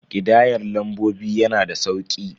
Ƙidayar lambobi yana da sauki.